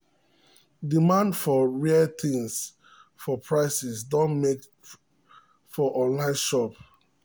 demand for rare things for market don make prices rise for online shops.